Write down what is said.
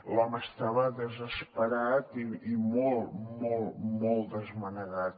l’home estava desesperat i molt molt molt desmanegat